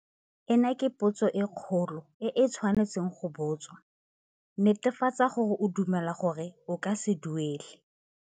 Ena ke potso e kgolo e e tshwanetsweng go botswa. Netefatsa gore o dumela gore o ka se duela.